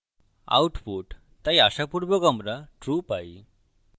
output তাই আশাপুর্বক আমরা true পাই